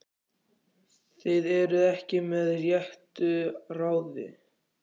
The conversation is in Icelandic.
Þið eruð ekki með réttu ráði!